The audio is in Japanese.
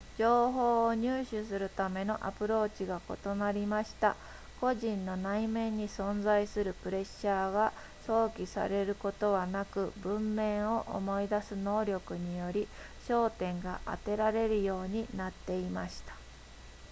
情報を入手するためのアプローチが異なりました個人の内面に存在するプレッシャーが想起されることはなく文面を思い出す能力により焦点が当てられるようになっていました